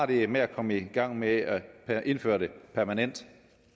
det er med at komme i gang med at indføre det permanent